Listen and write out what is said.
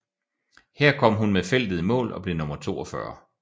Her kom hun med feltet i mål og blev nummer 42